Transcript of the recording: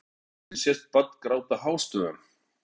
Á myndinni sést barn gráta hástöfum.